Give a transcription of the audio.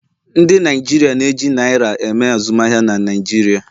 Ndi Naijiria na-eji naira eme azụmahịa na Naịjirịa